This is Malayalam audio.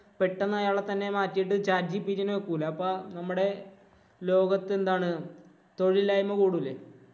പെട്ടെന്ന് അയാളെ തന്നെ മാറ്റിയിട്ട് chat gpt ഈനെ വെക്കൂല. അപ്പൊ നമ്മടെ ലോകത്ത് എന്താണ് തൊഴിലില്ലായ്മ കൂടൂലേ.